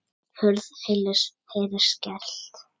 Hurð heyrist skellt.